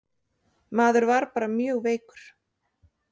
Maður var bara mjög veikur.